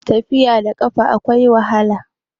tafiya da kafa akwai wahala